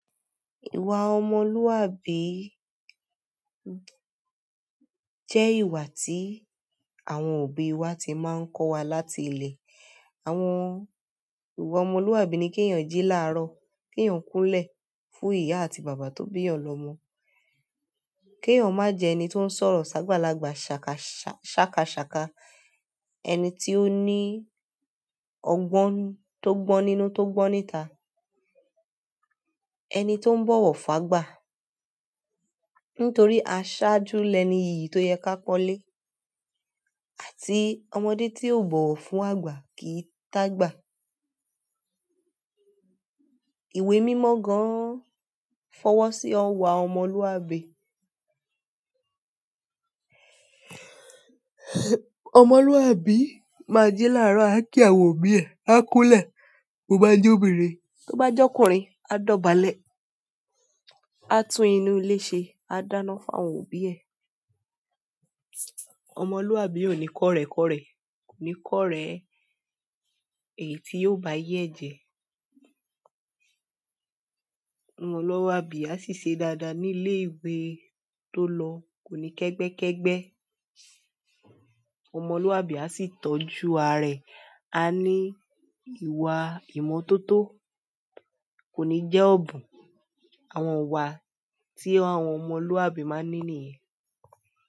Ìwàà ọmọlùàbì jẹ ìwàà tì àwọn òbì wàà tì màà ń kọ wà làtì ìlè. Àwọn ìwà ọmọlúàbí ni kí èèyàn jí láàárọ̀, kí èèyàn kúnlẹ̀ fún ìyá àti bàbá tó bí èèyàn lọmọ, kí èèyàn má jẹ ẹni tó ń sọ̀rọ̀ sábàlàgbà, ṣàkàṣàkà, ẹni tí ó ní ọgbọ́n tó gbọ́n nínú tó gbọ́n níta, ẹni tó ń bọ̀wọ̀ fágbà. Nìtòrì àṣàjù nì ẹnì ìyì tò yẹ kì à pọnlè à tì ọmọdè tì bọwọ fùn àgbà kì ì t'àgbà. Ìwé mímọ́ gà àn fọwọ́ sí ọwọ́ àwọn ọmọlúwàbí. Ọmọlúwàbí máa jì láàárọ̀, à kí àwọn òbí ẹ, à kúnlẹ̀ bó bá jẹ́ obìnrin, bó bá jẹ́ ọkùnrin, à dọ̀bálẹ̀, à tún inú ilé ṣe, a dáná fún àwọn òbí ẹ. Ọmọlúwàbí kò ní kọ̀rẹ̀kọ̀rẹ̀, kò ní kọ̀rẹ̀ èyí tí yóò bá àyé ẹ jẹ. Ọmọlúwàbí à sì ṣe dáadáa ní ilé-ìwé tó lọ̀, kò ní kẹ́gbẹ́kẹ́gbẹ́. Ọmọlúwàbí à sì tọ́jú àrà ẹ, à ní ìwà ìmọ́tótó, kò ní jẹ́ ọ̀bùn. Àwọn ìwà tí àwọn ọmọlúwàbí máa ń ní nìyẹn.